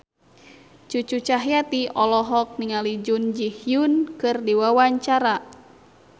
Cucu Cahyati olohok ningali Jun Ji Hyun keur diwawancara